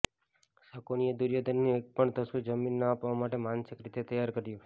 શકુનિએ દુર્યોધનને એક પણ તસુ જમીન ન આપવા માટે માનસિક રીતે તૈયાર કર્યો